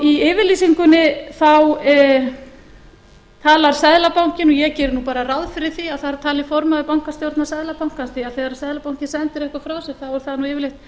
í yfirlýsingunni þá talar seðlabankinn og ég geri nú bara ráð fyrir því að þar tali formaður bankastjórnar seðlabankans því þegar seðlabankinn sendir eitthvað frá sér þá er það nú yfirleitt